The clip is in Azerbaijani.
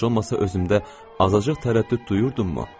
Heç olmasa özümdə azacıq tərəddüd duyurdunmu?